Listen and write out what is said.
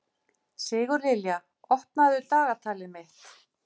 Sigurlilja, opnaðu dagatalið mitt.